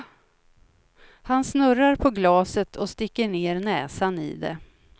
Han snurrar på glaset och sticker ner näsan i det.